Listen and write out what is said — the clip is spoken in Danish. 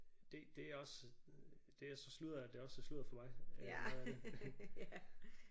Det det er også det er så sludder at det også er sludder for mig øh noget af det